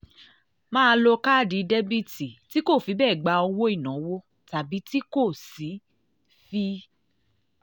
máa lo káàdì débẹ̀tì tí kò fi bẹ́ẹ̀ gba owó ìnáwó tàbí tí kò sì fi